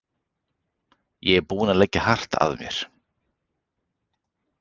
Ég er búinn að leggja hart að mér.